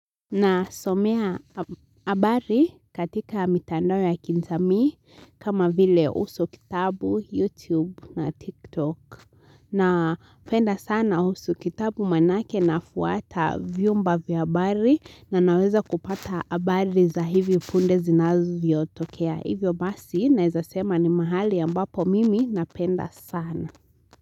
Nasomea habari katika mitando ya kijamii kama vile uso kitabu, youtube na tiktok napenda sana uso kitabu manake nafuata vyumba vya habari na naweza kupata habari za hivi punde zinavyotokea hivyo basi naeza sema ni mahali ambapo mimi napenda sana.